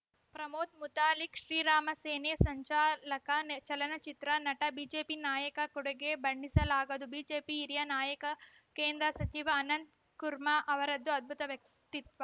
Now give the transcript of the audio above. ಪ್ರಮೋದ್‌ ಮುತಾಲಿಕ್‌ ಶ್ರೀರಾಮ ಸೇನೆ ಸಂಚಾಲಕ ಚಲನಚಿತ್ರ ನಟ ಬಿಜೆಪಿ ನಾಯಕ ಕೊಡುಗೆ ಬಣ್ಣಿಸಲಾಗದು ಬಿಜೆಪಿ ಹಿರಿಯ ನಾಯಕ ಕೇಂದ್ರ ಸಚಿವ ಅನಂತ್‌ ಕುರ್ಮಾ ಅವರದ್ದು ಅದ್ಭುತ ವ್ಯಕ್ತಿತ್ವ